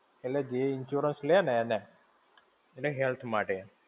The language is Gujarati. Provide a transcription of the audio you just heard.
એટલે જે insurance લેય ને એણે. એટલે health માટે.